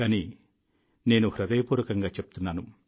కానీ నేను హృదయపూర్వకంగా చెప్తున్నాను